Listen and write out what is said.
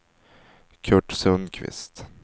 Curt Sundkvist